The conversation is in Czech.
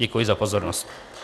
Děkuji za pozornost.